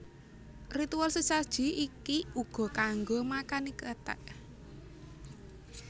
Ritual sesaji iki uga kanggo makani kethek